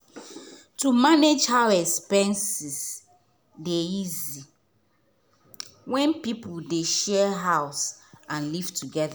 to manage house expenses dey easier when people dey share house and live toget.